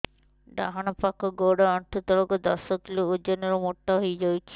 ଡାହାଣ ପାଖ ଗୋଡ଼ ଆଣ୍ଠୁ ତଳକୁ ଦଶ କିଲ ଓଜନ ର ମୋଟା ହେଇଯାଇଛି